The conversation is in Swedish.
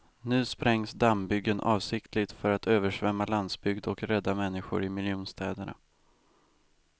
Nu sprängs dammbyggen avsiktligt för att översvämma landsbygd och rädda människor i miljonstäderna.